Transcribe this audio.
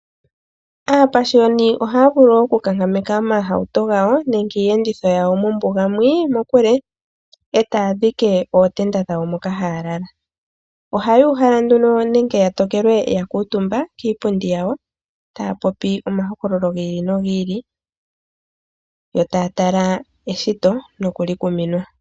Aapashioni ohaya vulu okunkankameka omahauto gawo nenge iiyenditho yawo mombuga mokule e taya dhike ootenda dhawo moka haya lala. Ohaya uhala nduno nenge ya tokelwe ya kuutumba kiipundi yawo taya popi omahokololo gi ili nogi ili yo taya tala eshito nokulikuminwa.